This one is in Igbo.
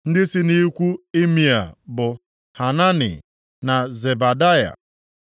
Ndị si nʼikwu Imea bụ Hanani, na Zebadaya.